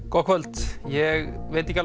gott kvöld ég veit ekki